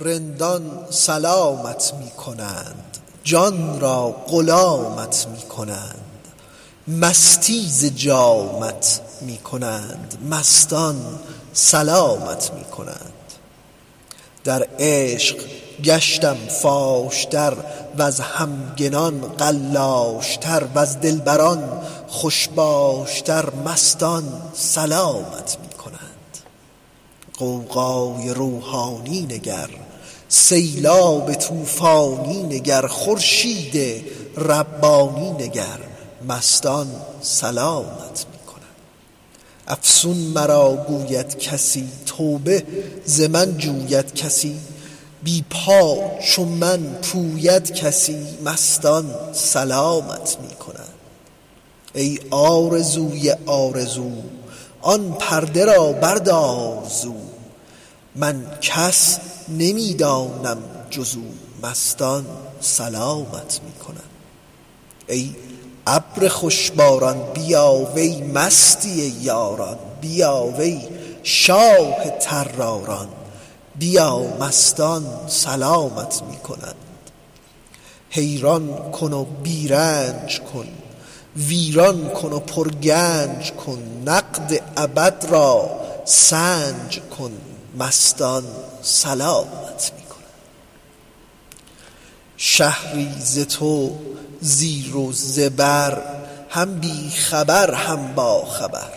رندان سلامت می کنند جان را غلامت می کنند مستی ز جامت می کنند مستان سلامت می کنند در عشق گشتم فاش تر وز همگنان قلاش تر وز دلبران خوش باش تر مستان سلامت می کنند غوغای روحانی نگر سیلاب طوفانی نگر خورشید ربانی نگر مستان سلامت می کنند افسون مرا گوید کسی توبه ز من جوید کسی بی پا چو من پوید کسی مستان سلامت می کنند ای آرزوی آرزو آن پرده را بردار زو من کس نمی دانم جز او مستان سلامت می کنند ای ابر خوش باران بیا وی مستی یاران بیا وی شاه طراران بیا مستان سلامت می کنند حیران کن و بی رنج کن ویران کن و پرگنج کن نقد ابد را سنج کن مستان سلامت می کنند شهری ز تو زیر و زبر هم بی خبر هم باخبر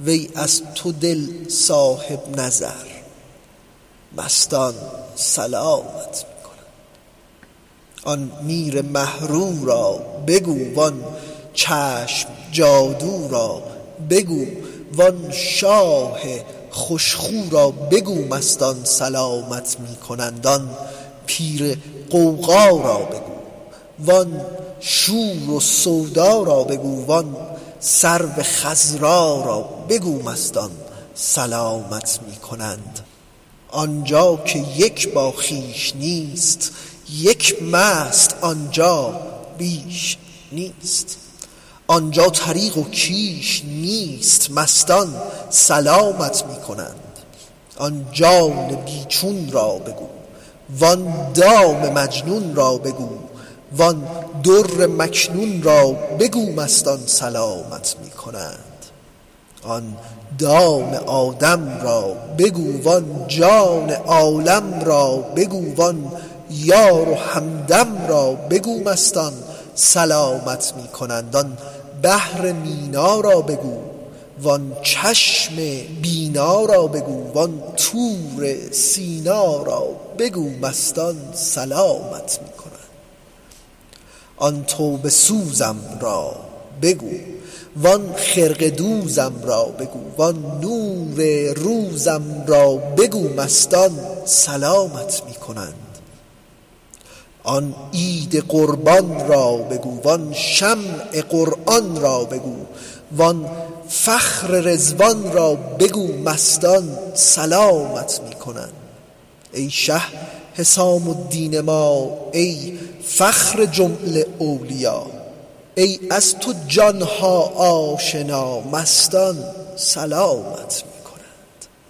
وی از تو دل صاحب نظر مستان سلامت می کنند آن میر مه رو را بگو وان چشم جادو را بگو وان شاه خوش خو را بگو مستان سلامت می کنند آن میر غوغا را بگو وان شور و سودا را بگو وان سرو خضرا را بگو مستان سلامت می کنند آن جا که یک باخویش نیست یک مست آن جا بیش نیست آن جا طریق و کیش نیست مستان سلامت می کنند آن جان بی چون را بگو وان دام مجنون را بگو وان در مکنون را بگو مستان سلامت می کنند آن دام آدم را بگو وان جان عالم را بگو وان یار و همدم را بگو مستان سلامت می کنند آن بحر مینا را بگو وان چشم بینا را بگو وان طور سینا را بگو مستان سلامت می کنند آن توبه سوزم را بگو وان خرقه دوزم را بگو وان نور روزم را بگو مستان سلامت می کنند آن عید قربان را بگو وان شمع قرآن را بگو وان فخر رضوان را بگو مستان سلامت می کنند ای شه حسام الدین ما ای فخر جمله اولیا ای از تو جان ها آشنا مستان سلامت می کنند